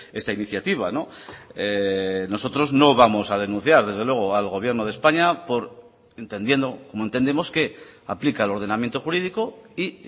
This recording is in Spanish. esta iniciativa nosotros no vamos a denunciar desde luego al gobierno de españa por entendiendo como entendemos que aplica el ordenamiento jurídico y